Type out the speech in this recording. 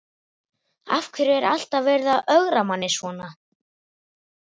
Af hverju er alltaf verið að ögra manni svona?